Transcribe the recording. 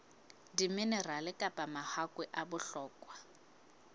diminerale kapa mahakwe a bohlokwa